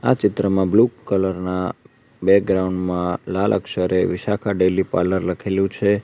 આ ચિત્રમાં blue colour ના બેગ્રાઉન્ડ માં લાલ અક્ષરે વિશાખા ડેલી પાર્લર લખેલું છે.